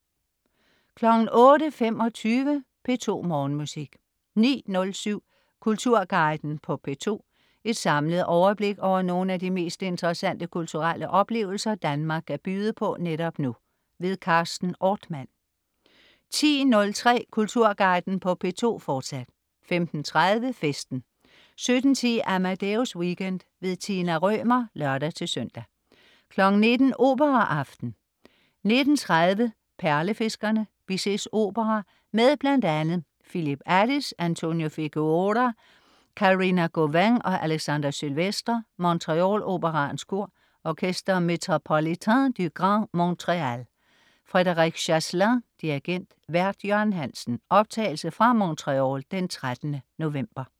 08.25 P2 Morgenmusik 09.07 Kulturguiden på P2. Et samlet overblik over nogle af de mest interessante kulturelle oplevelser Danmark kan byde på netop nu. Carsten Ortmann 10.03 Kulturguiden på P2, fortsat 15.30 Festen 17.10 Amadeus Weekend. Tina Rømer (lør-søn) 19.00 Operaaften. 19.30 Perlefiskerne. Bizets opera med bl.a. Phillip Addis, Antonio Figueroa, Karina Gauvin og Alexandre Sylvestre. Montreal Operaens Kor. Orchestre Métropolitain du Grand Montréal. Frédéric Chaslin, dirigent. Vært: Jørgen Hansen. (Optagelse fra Montreal 13. november)